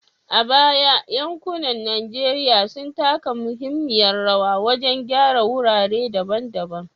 A baya, yankunan Najeriya sun taka muhimmiyar rawa wajen gyara wurare daban-daban